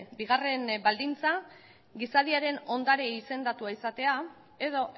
bigarren baldintza gizadiaren ondare izendatua izatea edo